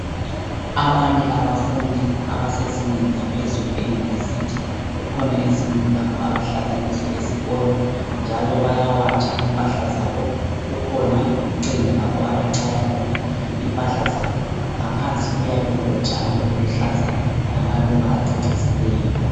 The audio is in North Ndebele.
Abanye abafundi abasezingeni laphezulu e university kukhona izindlu lapho abahlala kizo esikolo njalo bayawatsha impahla zabo; kukhona ucingo lapho abachaya khona impahla zabo ngaphansi kuyabe kulotshani obuluhlaza lamaluba acecisileyo.